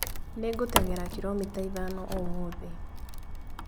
Nĩngũteng'era kiromita ithano ũmũthĩ